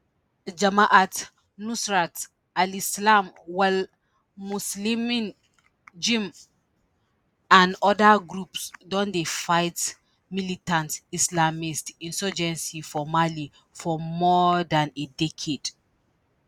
jamaat nusrat alislam wal muslimin jnim and oda groups don dey fight militant islamist insurgency for mali for more dan a decade